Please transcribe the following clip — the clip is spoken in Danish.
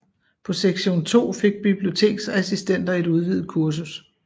På Sektion II fik biblioteksassistenter et udvidet kursus